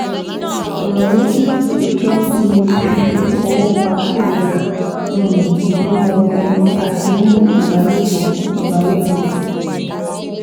Ọ̀ràn méjì ọ̀tọ̀ọ̀tọ̀ ni fífi ọwọ́ pa ẹ̀yà um ìbímọ ẹni àti níní ìbálòpọ̀ ìbálòpọ̀